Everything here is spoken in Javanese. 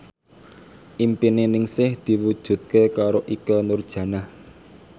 impine Ningsih diwujudke karo Ikke Nurjanah